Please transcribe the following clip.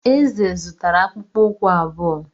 Eze zụtara akpụkpọ ụkwụ abụọ.